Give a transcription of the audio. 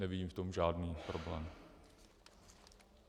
Nevidím v tom žádný problém.